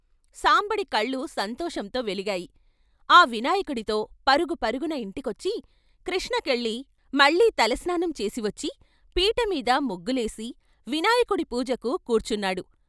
సాంబడి కళ్ళు సంతోషంతో వెలిగాయి. ఆ వినాయకుడితో పరుగు పరుగున ఇంటికొచ్చి కృష్ణకెళ్ళి మళ్ళీ తల స్నానం చేసివచ్చి పీటమీద ముగ్గులేసి వినాయకుడి పూజకు కూర్చు న్నాడు .